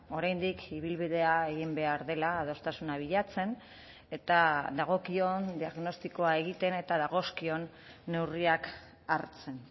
oraindik ibilbidea egin behar dela adostasuna bilatzen eta dagokion diagnostikoa egiten eta dagozkion neurriak hartzen